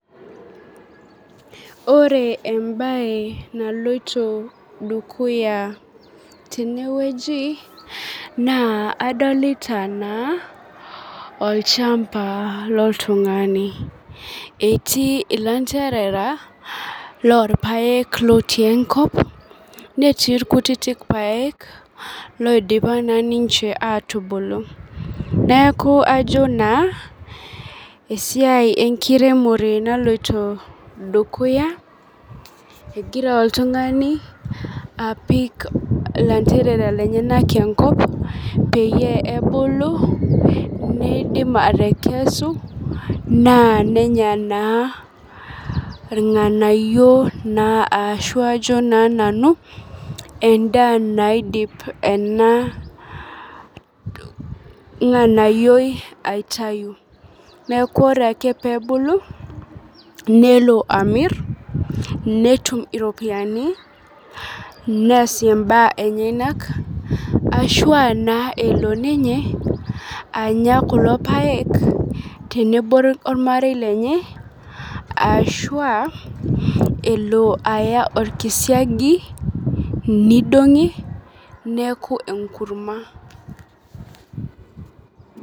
Ore ebae naloito dukuya tenewueji, naa adolita naa olchamba loltung'ani. Etii ilanterera, lorpaek lotii enkop netti irkutitik paek loidipa naa ninche atubulu. Neeku ajo naa, esiai enkiremore naloito dukuya, egira oltung'ani apik lanterera lenyanak enkop, peyie ebulu, nidim atekesu, naa nenya naa irng'anayio naa ashu ajo naa nanu endaa naidip ena ng'anayioi aitayu. Neeku ore ake pebulu, nelo amir ,netum iropiyiani, neesie imbaa enyanak, ashua naa elo ninye anya kulo paek, tenebo ormarei lenye, ashua elo aya orkisiagi, nidong'i, neeku enkurma.